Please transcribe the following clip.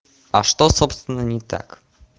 а что собственно не так